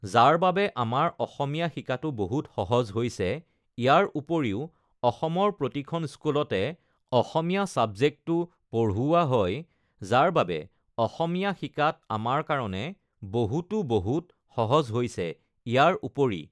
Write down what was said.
যাৰ বাবে আমাৰ অসমীয়া শিকাটো বহুত সহজ হৈছে ইয়াৰ উপৰিও অসমৰ প্ৰতিখন স্কুলতে অসমীয়া ছাবজেক্টটো পঢ়ুওৱা হয় যাৰ বাবে অসমীয়া শিকাত আমাৰ কাৰণে বহুতো বহুত সহজ হৈছে ইয়াৰ উপৰি